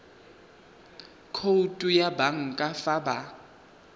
khoutu ya banka fa ba